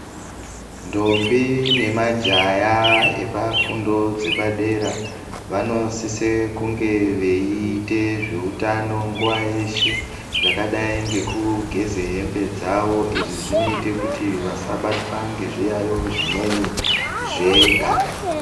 Ndombi nemajaya epafundo dzepadera vanosise kunge veiite zveutano nguwa yeshe yakadai ngekugeze hembe dzawo izvi zvinoite kuti vasabatwe ngezviyaiyo Zvimweni zveganda.